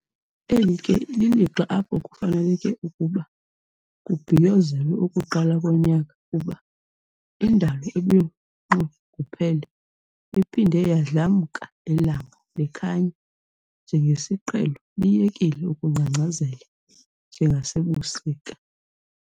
Eli ke lilixa apho kufaneleke ukuba kubhiyozelwe ukuqala konyaka kuba indalo ebinxunguphele iphinde yadlamka, ilanga likhanya njengesiqhelo liyekile ukungcangcazela njengasebusika.